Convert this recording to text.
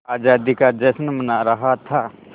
आज़ादी का जश्न मना रहा था